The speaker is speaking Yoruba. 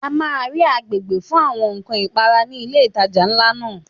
A máa rí agbègbè fún àwọn ǹkan ìpara ní ilé ìtajà ńlá náà.